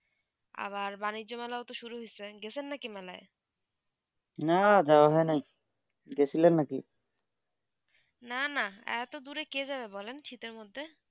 আবার বাণিজ্য মেলা শুরু হয়েছে গেছেন না কি মেলায় না যাওবা হয়ে নি গেছিলেন না কি না না আটো দূরে কে যাবেন বলেন শীতে মদদে